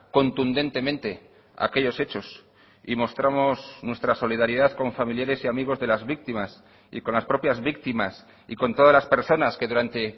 contundentemente aquellos hechos y mostramos nuestra solidaridad con familiares y amigos de las víctimas y con las propias víctimas y con todas las personas que durante